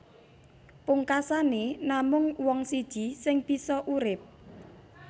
Pungkasané namung wong siji sing bisa urip